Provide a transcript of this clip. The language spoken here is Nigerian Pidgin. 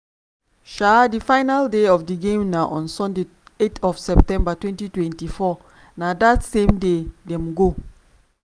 um di final day of di games na on sunday eight september twenty twenty four na dat same day dem go